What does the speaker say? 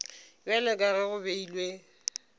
bjalo ka ge go beilwe